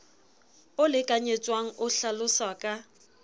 o lekanyetswang o hlaloswa ka